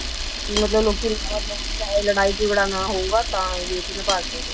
ਕਿ ਮਤਲਬ ਲੋਕੀ ਲੜਾਈ ਝਗੜਾ ਨਾ ਹੋਊਗਾ ਤਾਂ ਰੇਤ ਨਾਲ ਭਰ ਦਿੱਤਾ ਸੀ